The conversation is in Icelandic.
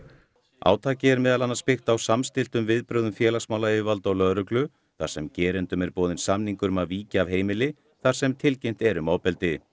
átakið er meðal annars byggt á samstilltum viðbrögðum félagsmálayfirvalda og lögreglu þar sem gerendum er boðinn samningur um að víkja af heimili þar sem tilkynnt er um ofbeldi